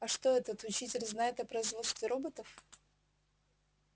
а что этот учитель знает о производстве роботов